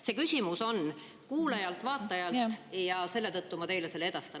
See küsimus on kuulajalt, vaatajalt ja selle tõttu ma teile selle edastan.